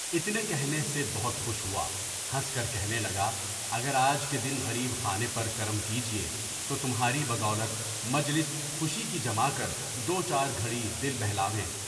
اتنے کہنے سے بہت خوش ہوا، ہنس کر کہنے لگا، اگر آج کے دن غریب خانے پر کرم کیجیے تو تمہاری بدولت مجلس خوشی کی جما کر دو چار گھڑی دل بہلاؤے۔